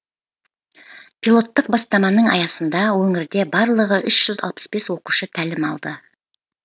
пилоттық бастаманың аясында өңірде барлығы үш жүз алпыс бес оқушы тәлім алды